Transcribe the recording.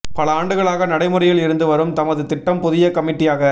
பல ஆண்டுகளாக நடைமுறையில் இருந்து வரும் தமது திட்டம் புதிய கமிட்டியாக